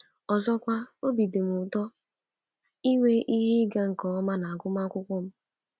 Ọzọkwa, obi dị m ụtọ inwe ihe ịga nke ọma n’agụmakwụkwọ m.